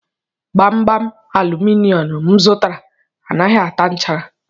Gbamgbam aluminum m zụtara anaghị ata nchara